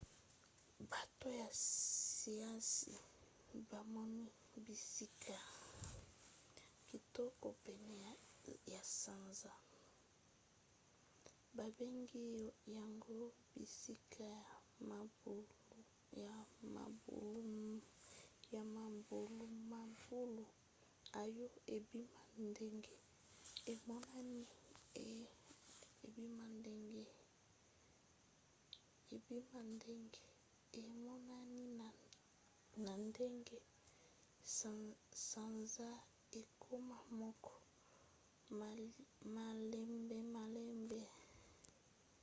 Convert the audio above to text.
bato ya siansi bamoni bisika kitoko pene ya sanza babengi yango bisika ya mabulumabulu oyo ebima ndenge emonani na ndenge sanza ekoma moko malembemalembe